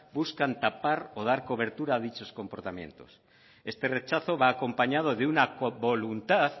buscan tapar o dar cobertura a dichos comportamientos este rechazo va acompañado de una co voluntad